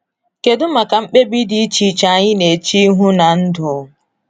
Kedu maka mkpebi dị iche iche anyị na-eche ihu na ndụ?